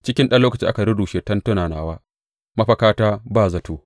Cikin ɗan lokaci aka rurrushe tentuna nawa, mafakata ba zato.